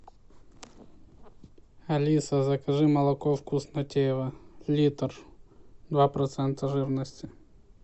алиса закажи молоко вкуснотеево литр два процента жирности